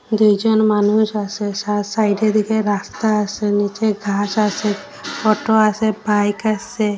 দুইজন মানুষ আসে সা সাইডে দিকে রাস্তা আসে নীচে ঘাস আসে অটো আসে বাইক আসে।